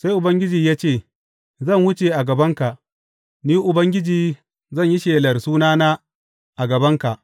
Sai Ubangiji ya ce, Zan wuce a gabanka, Ni Ubangiji zan yi shelar sunana a gabanka.